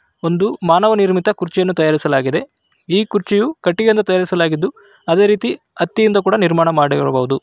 ಒಂದು ಮಾನವ ನಿರ್ಮಿತ ಕುರ್ಚಿಯನ್ನು ತಯಾರಿಸಲಾಗಿದೆ ಈ ಕುರ್ಚಿಯು ಕಟ್ಟಿಗೆಯಿಂದ ತಯಾರಿಸಲಾಗಿತ್ತು ಅದೇ ರೀತಿ ಹತ್ತಿಯಿಂದ ಕೂಡ ನಿರ್ಮಾಣ ಮಾಡಿರಬಹುದು .